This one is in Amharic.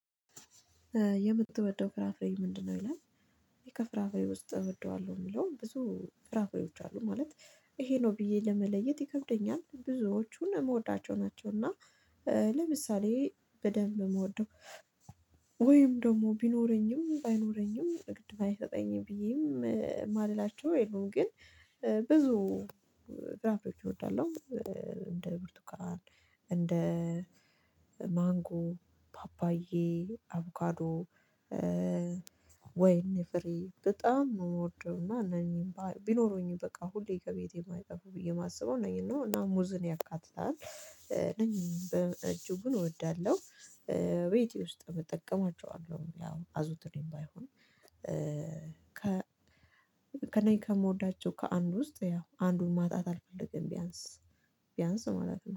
የምትወደው ፍራፍሬ ምንድነው ይላል? ይሄ ከፍራፍሬ ውስጥ እወደዋለሁ የሚለው ብዙ ፍራፍሬዎች አሉ ማለት ይሄ ነው ብዬ ለመለየት ይከብደኛል ብዙዎቹን መውዳቸው ናቸው። እና ለምሳሌ በደንብ የምወደው ወይም ደግሞ ቢኖረኝም ባይኖረኝም እግድ ባይሰጠኝም ብዬም ማልላቸው የለውም ግን ብዙ ፍራፍሬዎች እወዳለሁ። እንደ ብርቱካን እንደ ማንጎ ፓፓዬ አቮጋዶ ወይኔ ፍሬ በጣም ነው የምወደው። እና እነኚህም ቢኖረኝ በቃ ሁሌ ከቤቴ የማይጠፋው ብዬ የማስበው ነኝ። እና ናሙዝን ያካትታል እጅጉን እወዳለሁ። ቤቴ ውስጥ እጠቀማቸዋለሁ። ያው አዙትሬም ባይሆን ከ ከእኔ ከምወዳቸው ከአንዱ ውስጥ ያው አንዱን ማጣት አልፈልግም። ቢያንስ ቢያንስ ማለት ነው